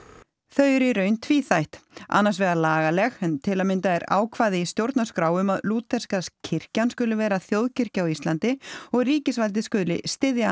þau eru í raun tvíþætt annars vegar lagaleg en til að mynda er ákvæði í stjórnarskrá um að lúterska kirkjan skuli vera þjóðkirkja á Íslandi og ríkisvaldið skuli styðja